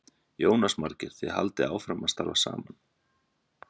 Jónas Margeir: Þið haldið áfram að starfa saman?